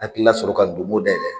Hakili la sɔrɔ ka Domo dayɛlɛ.